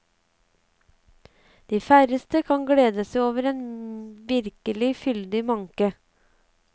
De færreste kan glede seg over en virkelig fyldig manke.